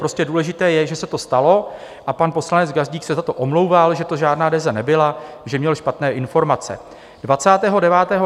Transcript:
Prostě důležité je, že se to stalo a pan poslanec Gazdík se za to omlouval, že to žádná DEZA nebyla, že měl špatné informace.